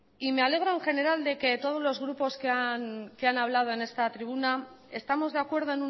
y me alegro en general de que todos los grupos que han hablado en esta tribuna estamos de acuerdo